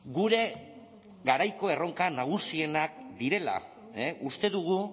gure garaiko erronka nagusienak direla uste dugu